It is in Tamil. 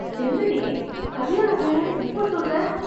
என்னடி கல்யாணம் வேணாம்ன்னு இப்ப சொல்ற!